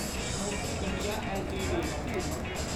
Sanofi India LTD